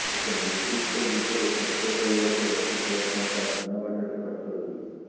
ଏକ ନିର୍ଦ୍ଦିଷ୍ଟ ଦିଗରେ ଖର୍ଚ୍ଚ କରିବାକୁ ରଖିଥିବା ଟଙ୍କା ଭିନ୍ନ ବାଟରେ ଖର୍ଚ୍ଚ ହୋଇଯିବ